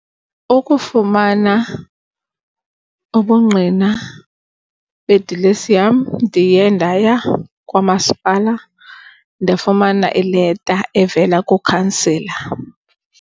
Ukufumana ubungqina bedilesi yam ndiye ndaya kwaMasipala ndafumana ileta evela kuKhansela.